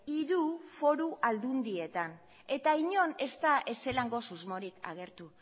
hiru foru aldundietan eta inon ez da ez zelango susmorik agertu